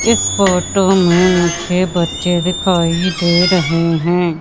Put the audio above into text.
इस फोटो में मुझे बच्चे दिखाई दे रहें हैं।